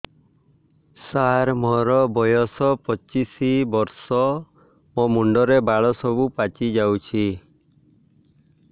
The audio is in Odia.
ସାର ମୋର ବୟସ ପଚିଶି ବର୍ଷ ମୋ ମୁଣ୍ଡରେ ବାଳ ସବୁ ପାଚି ଯାଉଛି